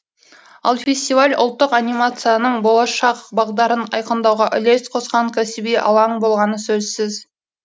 ал фестиваль ұлттық анимацияның болашақ бағдарын айқындауға үлес қосқан кәсіби алаң болғаны сөзсіз